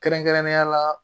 Kɛrɛnkɛrɛnnenya la